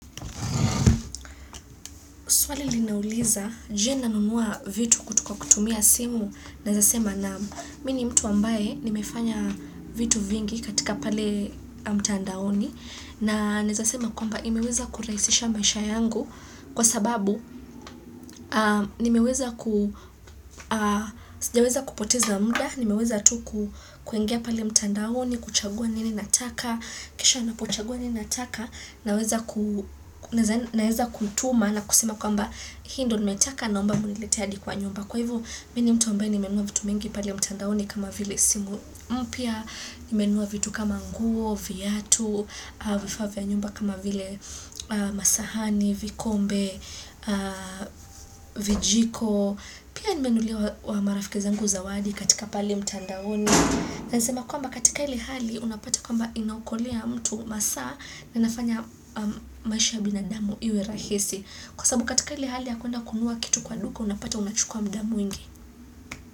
Swali linauliza; je, nanunua vitu kutoka kutumia simu, naezasema naam mimi ni mtu ambaye nimefanya vitu vingi katika pale mtandaoni. Na naezasema kwamba imeweza kurahisisha maisha yangu kwa sababu sijaweza kupoteza muda, nimeweza tu kuingia pale mtandaoni, kuchagua nini nataka, kisha napochagua nini nataka. Naweza kutuma na kusema kwamba hii ndo nimetaka naomba mniletee hadi kwa nyumba Kwa hivo mimi ni mtu ambaye nimenunua vitu mingi pale mtandaoni kama vile simu mpya Nimenunua vitu kama nguo, viatu, vifaa vya nyumba kama vile masahani, vikombe, vijiko Pia nimenunulia marafikizangu zawadi katika pale mtandaoni Nasema kwamba katika ile hali unapata kwamba inaokolea mtu masaa na inafanya maisha ya binadamu iwe rahisi Kwasababu katika ile hali ya kwenda kununua kitu kwa duka Unapata unachukua muda mwingi.